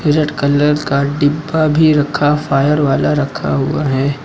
Red colour का डिब्बा भी रखा फायर वाला रखा हुआ है।